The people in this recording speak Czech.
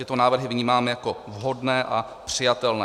Tyto návrhy vnímáme jako vhodné a přijatelné.